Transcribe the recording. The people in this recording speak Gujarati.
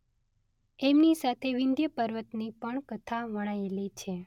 એમની સાથે વિંધ્ય પર્વતની પણ કથા વણાયેલી છે.